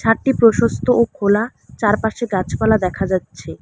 ছাদটি প্রশস্ত ও খোলা চারপাশে গাছপালা দেখা যাচ্ছে।